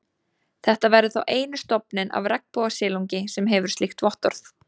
Þetta verður þá eini stofninn af regnbogasilungi, sem hefur slíkt vottorð.